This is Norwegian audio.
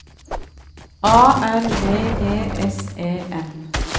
A R V E S E N